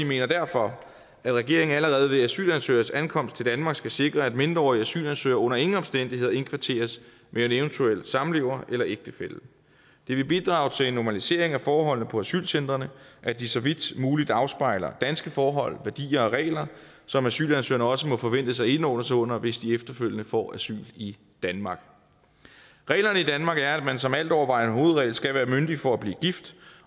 mener derfor at regeringen allerede ved asylansøgeres ankomst til danmark skal sikre at mindreårige asylansøgere under ingen omstændigheder indkvarteres med en eventuel samlever eller ægtefælle det vil bidrage til en normalisering af forholdene på asylcentrene at de så vidt muligt afspejler danske forhold værdier og regler som asylansøgerne også må forventes at indordne sig under hvis de efterfølgende får asyl i danmark reglerne i danmark er at man som altovervejende hovedregel skal være myndig for at blive gift